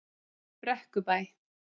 Brekkubæ